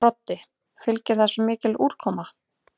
Broddi: Fylgir þessu mikil úrkoma?